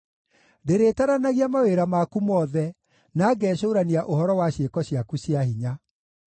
Ndĩrĩtaranagia mawĩra maku mothe, na ngecũũrania ũhoro wa ciĩko ciaku cia hinya.